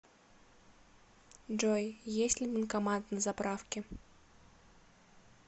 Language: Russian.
джой есть ли банкомат на заправке